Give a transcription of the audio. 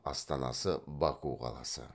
астанасы баку қаласы